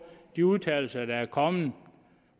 de udtalelser der er kommet om